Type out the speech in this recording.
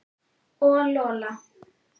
Og Lola.